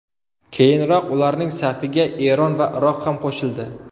Keyinroq ularning safiga Eron va Iroq ham qo‘shildi.